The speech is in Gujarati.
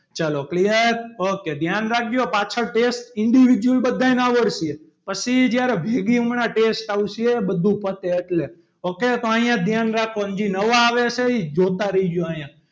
ચલો clear ok ધ્યાન રાખજો પાછળ test individual બધાને આવડશે પછી જ્યારે હમણાં ભેગી test આવશે બધું પતે એટલે ok તો અહીંયા ધ્યાન રાખો અને જે નવા આવે છે એ જોતા રહેજો અહીંયા.